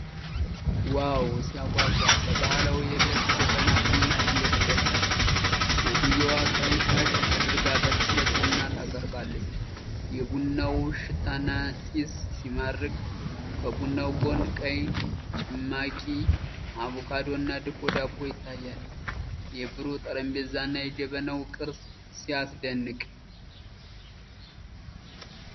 ዋው ሲያጓጓ! በባህላዊ የብረት ጀበና ቡና እየተቀዳ። ሴትየዋ ቀይ ሻሽ አድርጋ በትኩረት ቡና ታቀርባለች። የቡናው ሽታና ጢስ ሲማርክ! ከቡናው ጎን ቀይ ጭማቂ፣ አቮካዶና ድፎ ዳቦ ይታያል። የብሩህ ጠረጴዛና የጀበናው ቅርፅ ሲያስደንቅ!